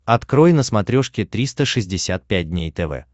открой на смотрешке триста шестьдесят пять дней тв